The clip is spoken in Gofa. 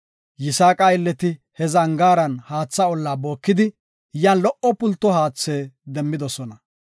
Yisaaqa aylleti he zangaaran haatha olla bookidi yan lo77o pulto haatha demmidosona.